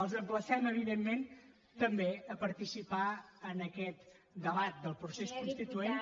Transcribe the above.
els emplacem evidentment també a participar en aquest debat del procés constituent